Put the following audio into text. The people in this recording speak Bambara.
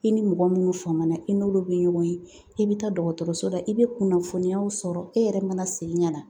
I ni mɔgɔ minnu faamana i n'olu bɛ ɲɔgɔn ye, i bɛ taa dɔgɔtɔrɔso la i bɛ kunnafoniyaw sɔrɔ i yɛrɛ mana segin ka na